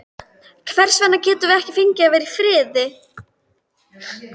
Hvers vegna getum við ekki fengið að vera í friði?